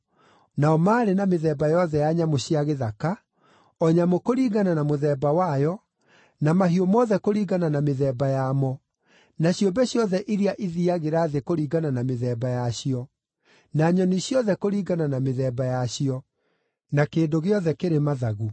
Nao maarĩ na mĩthemba yothe ya nyamũ cia gĩthaka, o nyamũ kũringana na mũthemba wayo, na mahiũ mothe kũringana na mĩthemba yamo, na ciũmbe ciothe iria ithiiagĩra thĩ kũringana na mĩthemba yacio, na nyoni ciothe kũringana na mĩthemba yacio, na kĩndũ gĩothe kĩrĩ mathagu.